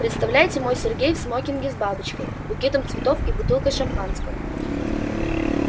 представляете мой сергей в смокинге с бабочкой букетом цветов и бутылкой шампанского